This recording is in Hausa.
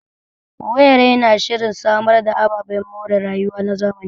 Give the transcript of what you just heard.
Owerri na shirin samar da ababen more rayuwa na zamani.